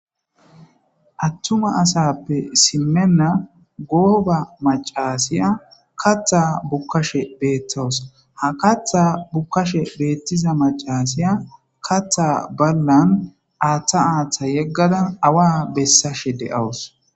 attuma asappe simenna gooba macasiya katha bukkashe beettowus ha katha bukkashe beettiza macasiya katha ballan aaththa aaththa yeggadan awa bessashe de7awus